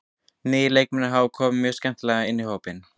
Nýju leikmennirnir hafa komið mjög skemmtilega inn í hópinn.